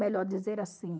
Melhor dizer assim.